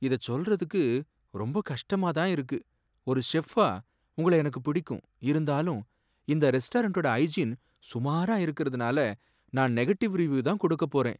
இதச் சொல்றதுக்கு கொஞ்சம் கஷ்டமா தான் இருக்கு, ஒரு செஃப்பா உங்களை எனக்கு பிடிக்கும், இருந்தாலும் இந்த ரெஸ்டாரண்ட்டோட ஹைஜீன் சுமாரா இருக்கறதுனால நான் நெகட்டிவ் ரிவ்யுதான் கொடுக்க போறேன்.